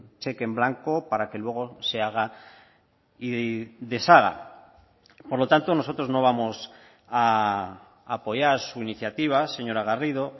cheque en blanco para que luego se haga y deshaga por lo tanto nosotros no vamos a apoyar su iniciativa señora garrido